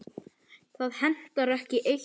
Það hentar ekki eitt öllum.